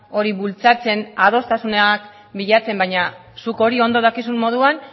hori bultzatzen adostasunak bilatzen baina zuk hori ondo dakizun moduan